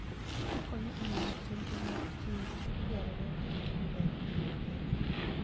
Okonyo e miyo chenro mar chiwo gik madwarore otimre maber e piny mangima.